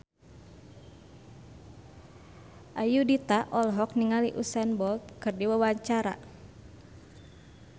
Ayudhita olohok ningali Usain Bolt keur diwawancara